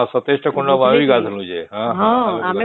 ହଁ ୨୭ ଟା କୁଣ୍ଡ ଆମେ ବି ଗାଧେଇଲୁ ଯେ